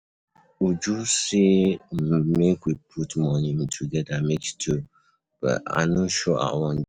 Uju say um make we put money um together make stew, but I no sure I wan join.